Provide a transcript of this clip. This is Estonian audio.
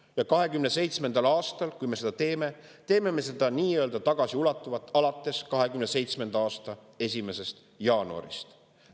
Ja 2027. aastal, kui me seda teeme, teeme me seda tagasiulatuvalt alates 2027. aasta 1. jaanuarist.